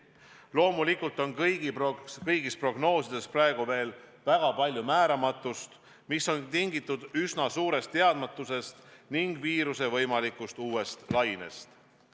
Loomulikult on kõigis prognoosides praegu väga palju määramatust, mis on tingitud üsna suurest teadmatusest ning viiruse võimalikust uuest lainest.